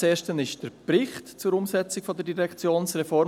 Das erste ist der Bericht zur Umsetzung der Direktionsreform.